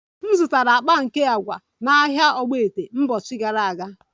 M zụtara akpa nke agwa na ahịa ogbete mbochi gara aga